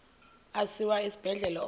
asiwa esibhedlele onke